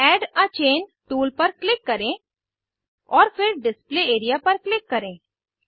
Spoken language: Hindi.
एड आ चैन टूल पर क्लिक करें और फिर डिस्प्ले एआरईए पर क्लिक करें